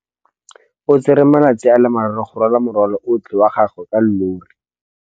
O tsere malatsi a le marraro go rwala morwalo otlhe wa gagwe ka llori.